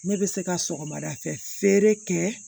Ne bɛ se ka sɔgɔmada fɛ feere kɛ